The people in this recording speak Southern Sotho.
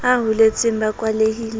a holetseng ba kwalehile ba